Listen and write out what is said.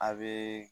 A be